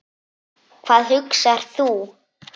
Hvað hugsar þú?